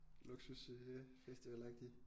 Luksus øh festivalagtig